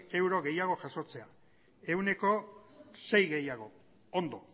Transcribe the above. euro gehiago jasotzea ehuneko sei gehiago ondo